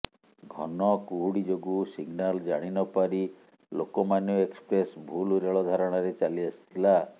ଘନକୁହୁଡ଼ି ଯୋଗୁଁ ସିଗ୍ନାଲ୍ ଜାଣିନପାରି ଲୋକମାନ୍ୟ ଏକ୍ସପ୍ରେସ୍ ଭୁଲ ରେଳ ଧାରଣାରେ ଚାଲିଆସିଥିଲା